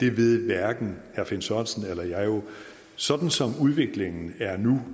ved hverken herre finn sørensen eller jeg sådan som udviklingen er nu